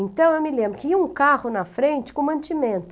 Então, eu me lembro que ia um carro na frente com mantimento.